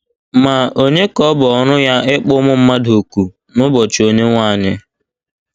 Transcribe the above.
Ma, ònye ka ọ bụ ọrụ ya ịkpọ ụmụ mmadụ òkù n’ụbọchị Onyenwe anyị?